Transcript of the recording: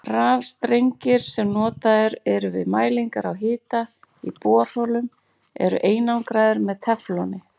Rafstrengir sem notaðir eru við mælingar á hita í borholum eru einangraðir með tefloni.